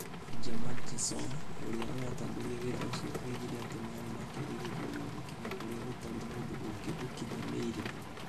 Asgeir Margeirsson ũrĩa ũratongoria wĩra ũcio oigire atĩ marĩ na kĩĩrĩgĩrĩro gĩa gũkinya kũrĩa gũtarĩ mũndũ ũngĩ ũkinyanĩire.